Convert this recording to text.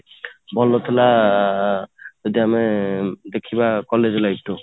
ଭଲ ଥିଲା ଯଦି ଆମେ ଦେଖିବା college life ଠୁ